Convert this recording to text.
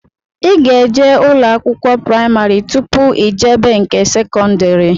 Ị ga-eje ụlọ akwụkwọ praimarị tụpụ ijebe nke sekọndri